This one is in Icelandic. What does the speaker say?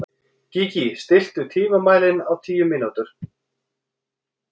Gígí, stilltu tímamælinn á tíu mínútur.